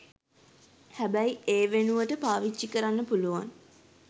හැබැයි ඒ වෙනුවට පාවිච්චි කරන්න පුළුවන්